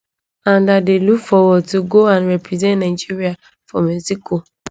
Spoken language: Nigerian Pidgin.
and i dey look forward to go and represent nigeria for mexico